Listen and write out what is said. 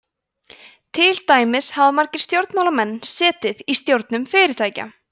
til dæmis hafa fjölmargir stjórnmálamenn setið í stjórnum fyrirtækja